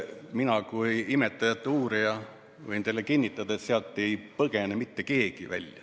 Mina kui imetajate uurija võin teile kinnitada, et sealt ei põgene mitte keegi.